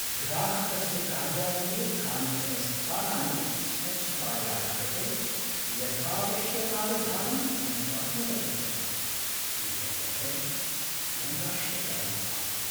ग्राहकस्य कार्यालये कानिचन स्थानानि स्वच्छतायाः कृते यथाऽऽवश्यकावधानं न प्राप्नुवन्ति स्म, एतद्दर्शनं नैराश्यकरम् आसीत्।